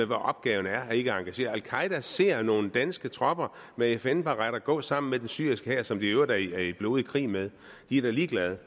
med at opgaven er ikke at engagere sig al qaeda ser nogle danske tropper med fn baretter gå sammen med den syriske hær som de i øvrigt er i blodig krig med de er ligeglade